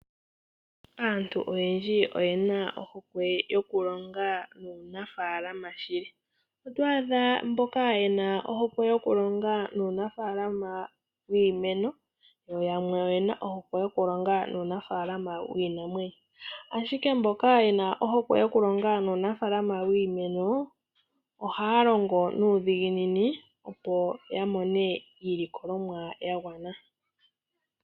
Aantu oyendji oyena ohokwe yokulonga nuunafaalama shili, oto adha mboka yena ohokwe yokulonga nuunafaalama wiimeno, yamwe oyena ohokwe yokulonga nuunafaalama wiinamwenyo. Ashike mboka yena ohokwe yokulonga nuunafaalama wiimeno ohaya longo nuudhiginini opo yamone iilikolomwa yagwana.